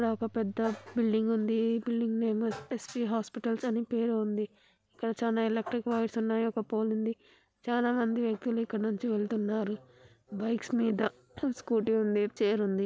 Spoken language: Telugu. ఇక్కడ ఒక పెద్ద బిల్డింగ్ ఉంది. ఈ building name S V hospitals అని పేరు ఉంది. ఇక్కడ చాలా ఎలక్ట్రిక్ వైర్స్ ఉన్నాయి. ఒక పోల్ ఉంది. చాలా మంది వ్యక్తులు ఇక్కడ నుంచి వెళ్తున్నారు బైక్స్ మీద. స్కూటీ ఉంది. చైర్ ఉంది.